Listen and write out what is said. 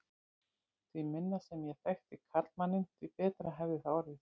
Því minna sem ég þekkti karlmanninn, því betra hefði það orðið.